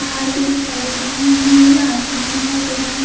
पहाड़ भी दिखाई दे रहे है नीला आसमान दिखाई दे रहा है।